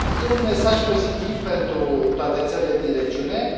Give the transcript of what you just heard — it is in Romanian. E un mesaj pozitiv pentru toate țările din regiune,